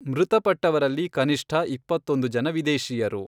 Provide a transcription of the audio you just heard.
ಮೃತಪಟ್ಟವರಲ್ಲಿ ಕನಿಷ್ಠ ಇಪ್ಪತ್ತೊಂದು ಜನ ವಿದೇಶಿಯರು.